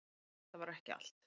En þetta var ekki allt.